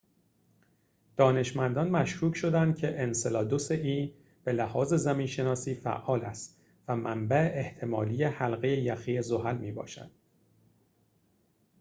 دانشمندان مشکوک شدند که انسلادوس به لحاظ زمین شناسی فعال است و منبع احتمالی حلقه یخی e زحل می‌باشد